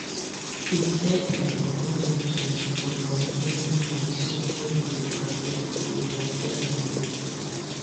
make we set um budget um for um every month so nobody go overspend go overspend the money